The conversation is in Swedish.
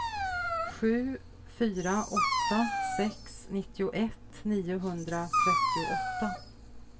sju fyra åtta sex nittioett niohundratrettioåtta